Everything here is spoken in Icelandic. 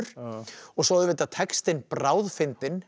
og svo auðvitað textinn bráðfyndinn